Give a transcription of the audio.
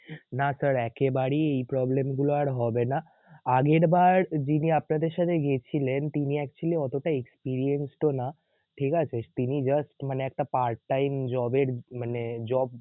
না sir একেবারেই এ problem গুলোই আর হবে না. আগেরবার যিনি আপনাদের সাথে গিয়েছিলেন তিনি actually অতটা Experienced ও না, ঠিকাছে? তিনি just মানে একটা part time job এর মানে job job না